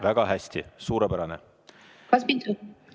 Väga hästi, suurepärane!